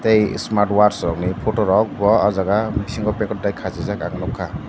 tei smart watch rokni photorok bo ah jaga bisingo packet dai khachijak ang nukha.